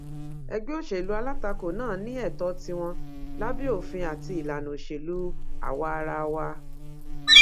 ẹgbẹ òṣèlú alátakò náà ní ètò tiwọn lábẹ òfin àti ìlànà òṣèlú àwaarawa